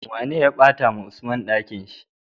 Wane ya bata wa usman Ɗakinshi?